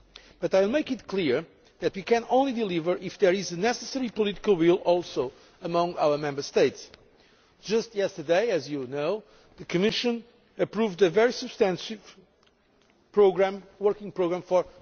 But I will make it clear that we can only deliver if there is the necessary political will among our Member States. Just yesterday, as you know, the Commission approved a very substantial working programme for